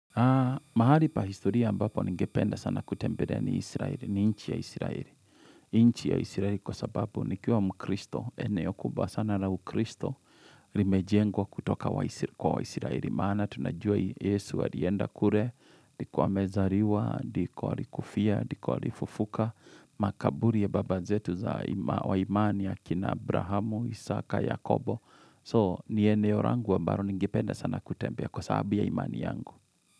Mahali pa historia ambapo ni ngependa sana kutembelea ni Israel, ni nchi ya Israel. Nchi ya Israel kwa sababu nikiwa mkristo, eneo kubwa sana na ukristo rimejengwa kutoka kwa wa Israel. Maana tunajua Yesu wa alienda kure, ndiko amezariwa, ndiko alikufia, ndiko alifufuka, makaburi ya babazetu za wa imani ya kina Abrahamu, Isaka, Yakobo. So ni eneo rangu ambaro ningependa sana kutembele kwa sababu ya imani yangu.